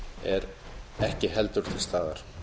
er ekki heldur til staðar